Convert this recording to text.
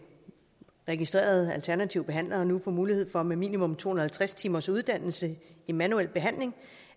registrede alternative behandlere nu får mulighed for med minimum to hundrede og halvtreds timers uddannelse i manuel behandling